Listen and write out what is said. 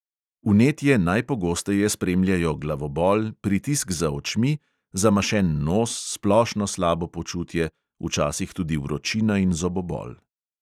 Vnetje najpogosteje spremljajo glavobol, pritisk za očmi, zamašen nos, splošno slabo počutje, včasih tudi vročina in zobobol.